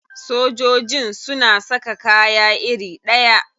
Sojojin suna saka kaya iri ɗaya?